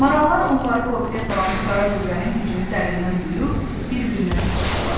Marallar onları qorxuya salan bu qara qüvvənin gücünü dərindən duyub bir-birinə qısıldılar.